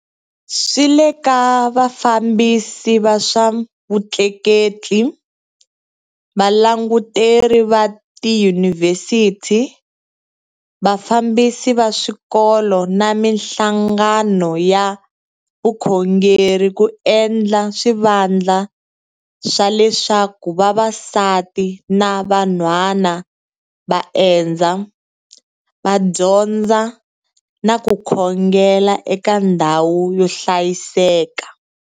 Swi le ka vafambisi va swa vutleketli, valanguteri va tiyunivhesiti, vafambisi va swikolo na mihlangano ya vukhongeri ku endla swivandla swa leswaku vavasati na van'hwana va endza, va dyondza na ku khongela eka ndhawu yo hlayiseka.